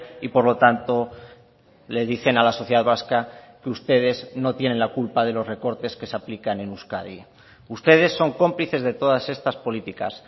y por lo tanto le dicen a la sociedad vasca que ustedes no tienen la culpa de los recortes que se aplican en euskadi ustedes son cómplices de todas estas políticas